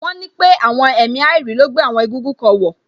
Wọ́n ní pé àwọn èmi àìrí ló gbé àwọn egúngún kan wọ̀